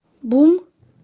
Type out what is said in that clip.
бум